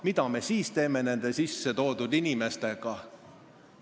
Mida me siis teeme nende sissetoodud inimestega?